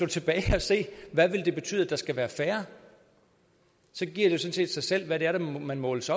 tilbage og se hvad det vil betyde at der skal være færre så giver det set sig selv hvad det er man måles